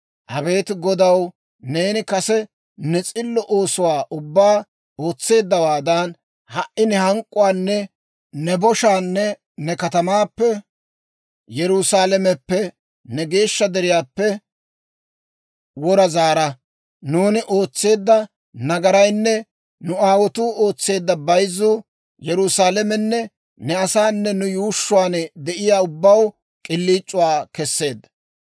Abeet Godaw, neeni kase ne s'illo oosuwaa ubbaa ootseeddawaadan, ha"i ne hank'k'uwaanne ne boshaanne ne katamaappe, Yerusaalameppe, ne geeshsha deriyaappe, wora zaara. Nuuni ootseedda nagaraynne nu aawotuu ootseedda bayzzuu Yerusaalamenne ne asaanne nu yuushshuwaan de'iyaa ubbaw k'iliic'uwaa kesseedda.